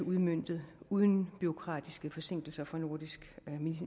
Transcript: udmøntet uden bureaukratiske forsinkelser fra nordisk